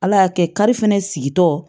Ala y'a kɛ kari fɛnɛ sigi tɔ